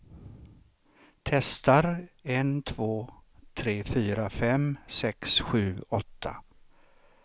Testar en två tre fyra fem sex sju åtta.